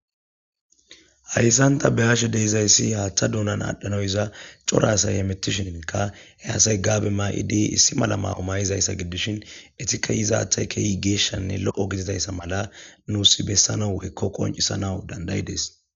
Hayisani ta beyashe deizayisi haaththa doonani adhdhanawu yiza cora asayi hemetishshikka he asayi gabbe nayidi issi mala mayizayisa gididi gidishshin eyitikka hizadeyi kehippe geshshanne loo gididayissa mala nusi besanawu woyikko qonicisanawu danidaideesi